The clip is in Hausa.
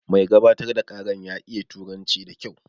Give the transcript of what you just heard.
Mai gabatar da ƙaran ya iya turanci da kyau